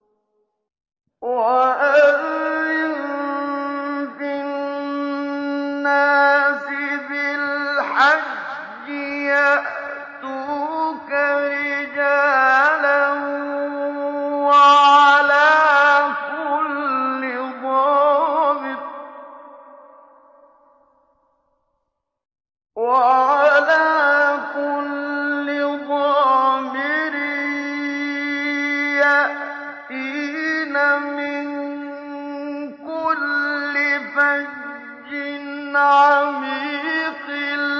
وَأَذِّن فِي النَّاسِ بِالْحَجِّ يَأْتُوكَ رِجَالًا وَعَلَىٰ كُلِّ ضَامِرٍ يَأْتِينَ مِن كُلِّ فَجٍّ عَمِيقٍ